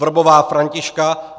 Vrbová Františka